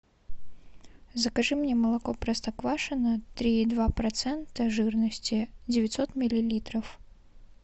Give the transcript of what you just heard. закажи мне молоко простоквашино три и два процента жирности девятьсот миллилитров